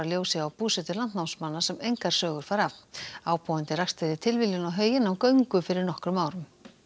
ljósi á búsetu landnámsmanna sem engar sögur fara af ábúandi rakst fyrir tilviljun á hauginn á göngu fyrir nokkrum árum